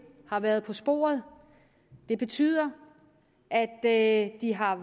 har været på sporet det betyder at de har